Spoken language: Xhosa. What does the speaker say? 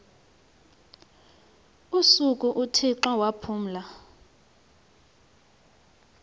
usuku uthixo waphumla